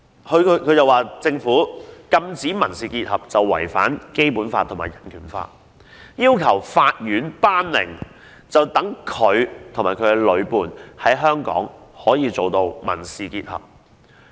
她指政府禁止民事結合違反《基本法》及《香港人權法案條例》，要求法院頒令，讓她及女伴可以在香港締結民事結合。